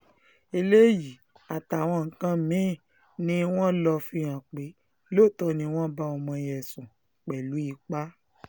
eléyìí àtàwọn nǹkan mí-ín ni wọ́n lọ fihàn pé lóòótọ́ ni wọ́n bá ọmọ yẹn sùn pẹ̀lú ipa